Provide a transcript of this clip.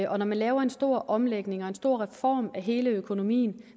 og når man laver en stor omlægning og en stor reform af hele økonomien